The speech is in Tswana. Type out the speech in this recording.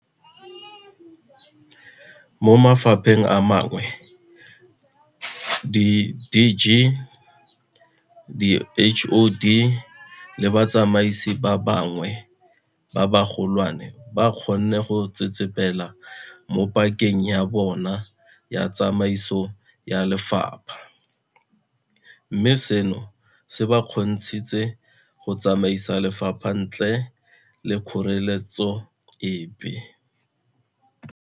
Mo mafapheng a mangwe di DG, di HoD le batsamaisi ba bangwe ba bagolwane ba kgonne go tsetsepela mo pakeng ya bona ya tsamaiso ya lefapha, mme seno se ba kgontshitse go tsamaisa lefapha ntle le kgoreletso epe.